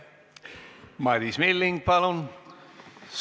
Madis Milling, palun!